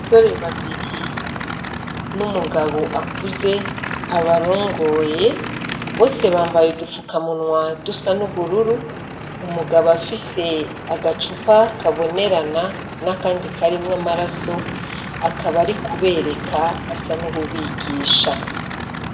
Asore babiri ni umugabo akuze abarongoye bose bambaye dupfukamunwa dusa n'ubururu umugabo afise agacupa kabonerana n'akandi karimwo amaraso akaba ari kubereka asa n'ububigisha.